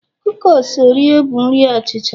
kukis oreo bụ nri achicha